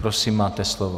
Prosím, máte slovo.